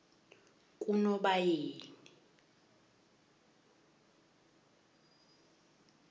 kunobayeni